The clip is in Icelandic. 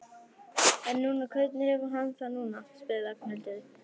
En núna, hvernig hefur hann það núna? spurði Ragnhildur.